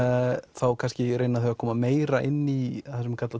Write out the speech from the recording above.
þá kannski reyna þau að koma meira inn í það sem er kallað